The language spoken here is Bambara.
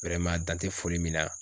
tan tɛ foli min na